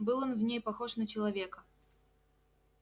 был он в ней похож на человека